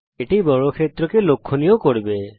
এটি বর্গক্ষেত্রকে লক্ষণীয় করবে